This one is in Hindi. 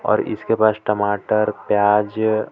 और इसके पास टमाटरप्याज --